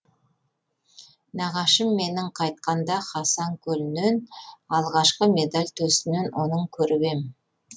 нағашым менің қайтқанда хасан көлінен алғашқы медаль төсінен соның көріп ем